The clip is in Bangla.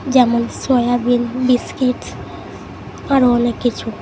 যেমন সয়াবিন বিস্কিটস আরো অনেক কিছু।